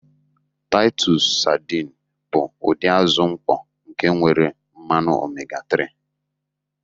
Titus sadịni bụ ụdị azụ mkpọ nke nwere mmanụ omega-3.